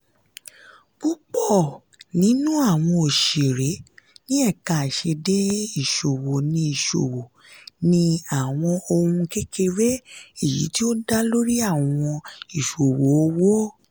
púpọ̀ nínú àwọn òṣeré ní ẹ̀ka àìṣedééé ìṣòwò ni ìṣòwò ni àwọn ohun kékeré èyí tí ó dá lórí àwọn ìṣòwò owó